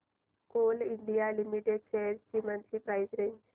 Coal India limited shares ची monthly price range